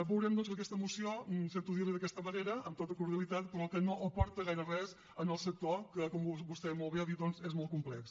veurem doncs que aquesta moció sento dir li ho d’aquesta manera amb tota cordialitat però no aporta gaire res al sector que com vostè molt bé ha dit doncs és molt complex